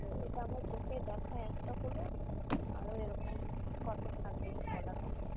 এটা আমার চোখে দেখা একটা হলো, আরও এরকম কতো থাকবে বলার মতো নয়।